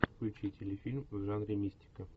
включи телефильм в жанре мистика